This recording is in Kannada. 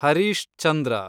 ಹರೀಶ್ ಚಂದ್ರ